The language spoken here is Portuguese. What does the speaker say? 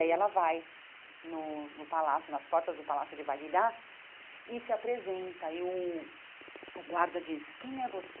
E aí ela vai no no palácio, nas portas do Palácio de Vagdá, e se apresenta, e o o guarda diz, quem é você?